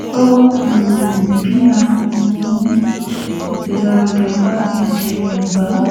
ó um ní a kò mú ìgbélárugẹ bá èdè yorùbá